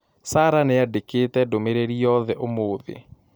Sarah nĩ andĩkĩte ndũmĩrĩri yothe ũmũthĩ